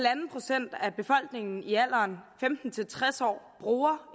procent af befolkningen i alderen femten til tres år bruger